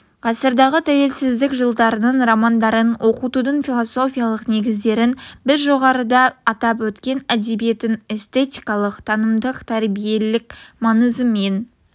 ғасырдағы тәуелсіздік жылдарының романдарын оқытудың философиялық негіздерін біз жоғарыда атап өткен әдебиеттің эстетикалық танымдық тәрбиелік маңызымен